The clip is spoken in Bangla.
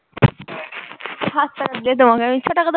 সাত টাকা দিলে তোমাকে আমি ছয় টাকা দেব